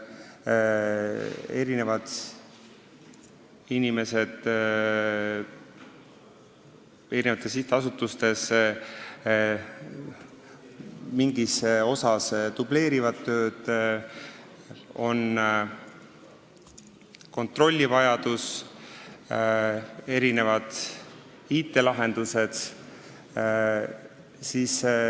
Inimesed dubleerivad osaliselt tööd nendes sihtasutustes, mis tähendab ka kontrollivajadust ja IT-lahendusi.